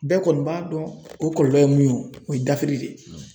Bɛɛ kɔni b'a dɔn o kɔlɔlɔ ye mun ye, o ye dafiri de ye